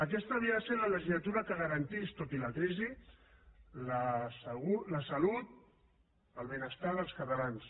aquesta havia de ser la legislatura que garantís tot i la crisi la salut el benestar dels catalans